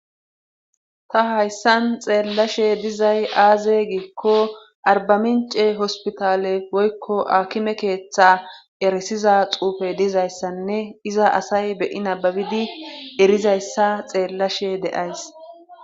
Ta hayssan xeelashe dizay aaze giiko arbamincce hopitale woykko akime keeththa erisiaz xuufe dizayssanne iza asay be'i nababidi erizayssa ta xeelashe de'ays.